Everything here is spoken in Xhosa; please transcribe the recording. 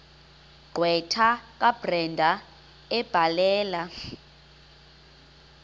gqwetha kabrenda ebhalela